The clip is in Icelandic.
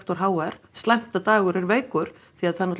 h r slæmt að Dagur er veikur því